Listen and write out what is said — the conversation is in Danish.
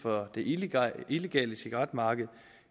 og det illegale illegale cigaretmarked